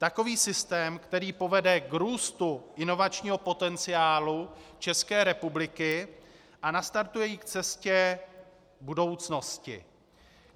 Takový systém, který povede k růstu inovačního potenciálu České republiky a nastartuje ji k cestě budoucnosti.